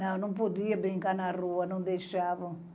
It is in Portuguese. Não, não podia brincar na rua, não deixavam.